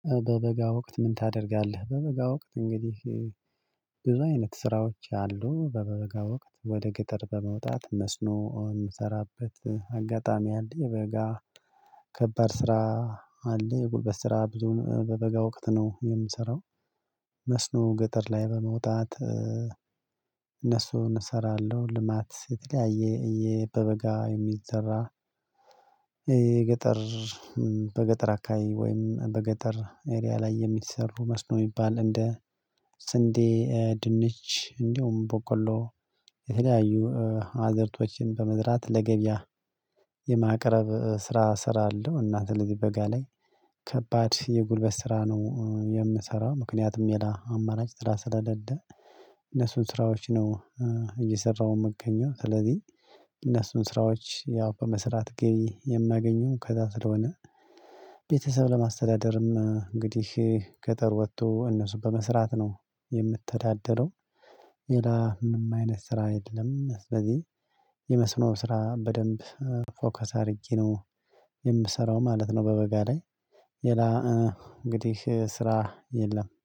በበጋ ወቅት ምን ታደርጋለህ? በበጋ ወቅት እንግዲህ ብዙ አይነት ስራዎች አሉ። በበጋ ወቅት ወደ ገጠር በመውጣት መስኖ የምሰራበት አጋጣሚ አለ። የበጋ ከባድ ስራ አለ የጉልበት ስራ ብዙም በበጋ ወቅት ነው የምሰራው። መስኖ ገጠር ላይ በመውጣት እነሱን እሰራለሁ። ልማት የተለያየ በበጋ የሚዘራ የገጠር በገጠር አካባቢ ወይም በገጠር ኤሪያ ላይ የሚሰሩ መስኖ የሚባል እንደ ስንዴ፣ ድንች፣ እንዲሁም በቆሎ፣ የተለያዩ አዕዝርቶችን በመዝራት ለገበያ የማቅረብ ስራ እስራለው። እና ስለዚህ በጋ ላይ ከባድ የጉልበት ስራ ነው የምሰራው። ምክንያቱም ሌላ አማራጭ ስራ ስለሌለ እነሱን ስራዎች ነው እየሰራሁ የምገኘው። ስለዚህ እነሱን ስራዎች ያው በመስራት ገቢ የማገኘው ከዛ ስለሆነ ቤተሰብ ለማስተዳደርም እንግዲህ ገጠር ወጥቶ እነሱን በመስራት ነው የምተዳደረው። ሌላ ምንም አይነት ስራ የለም። ስለዚህ የመስኖ ስራ በደንብ ፎከስ አድርጌ ነው የምሰራው ማለት ነው በበጋ ላይ። ሌላ እንግዲህ ስራ የለም።